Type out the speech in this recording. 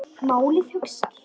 Báðar orðnar ekkjur.